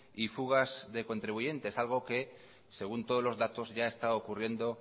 y fugas de contribuyentes algo que según todos los datos ya está ocurriendo